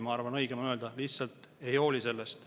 Ma arvan, et õigem on öelda, et nad lihtsalt ei hooli sellest.